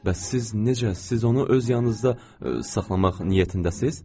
Bəs siz necə, siz onu öz yanınızda saxlamaq niyyətindəsiz?